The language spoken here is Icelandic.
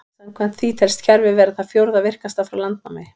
Samkvæmt því telst kerfið vera það fjórða virkasta frá landnámi.